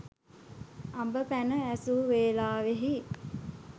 අඹ පැනය ඇසූ වේලෙහි